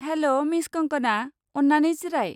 हेल', miss Kangana! अन्नानै जिराय।